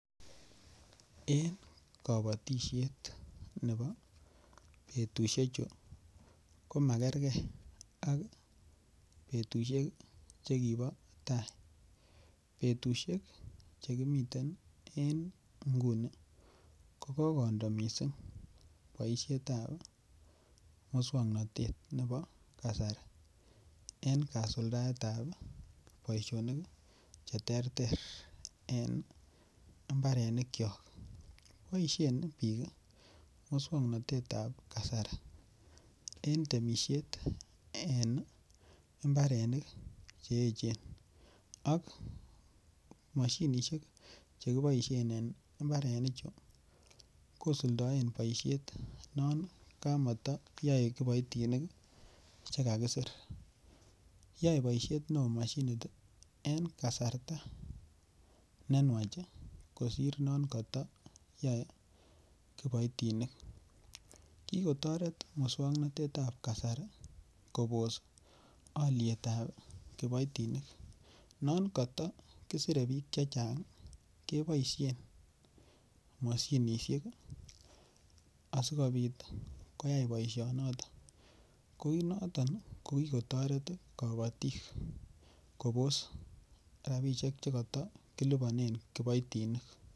Eng kabatisyet betushechu komakerke ak betushek chikibo tai , betushek chekimiten eng inguni kokokondo mising boisyetab muswoknotet nebo kasari eng kasuldaetab boisyonik cheterter eng imbarenikyok ,boisyen bik muswoknotetab kasari eng temisyet eng imbarenik cheechen mashinishek chekiboisyen eng imbarenik chu kosuldoen boisyet non kamatayae kiboitinik chekakisir ,yae boisyet neo mashinit eng kasarta nenwach kosir non katayae kiboitinik, kikotoret muswoknotetab kasari Kobos alyetab kiboitinik ,non katakisire bik chechang keboisyen mashinishek asikobit koyai boisyoniton ko noton kikotoret kabatisyet Kobos rapishek chikata kilipanen kiboitinik.